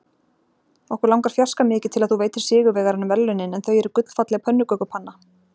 Okkur langar fjarska mikið til að þú veitir sigurvegaranum verðlaunin en þau eru gullfalleg pönnukökupanna.